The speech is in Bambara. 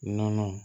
Nɔnɔ